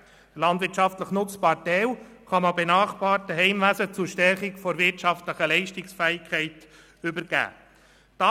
Der landwirtschaftlich nutzbare Teil kann an benachbarte Heimwesen zur Stärkung der landwirtschaftlichen Leistungsfähigkeit übergeben werden.